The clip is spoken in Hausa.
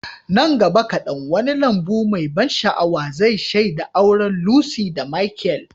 Nan gaba kadan, wani lambu mai ban sha'awa zai shaida auren Lucy da Michael.